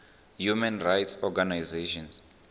human rights organizations